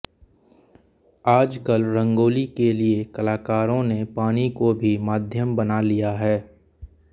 आजकल रंगोली के लिए कलाकारों ने पानी को भी माध्यम बना लिया है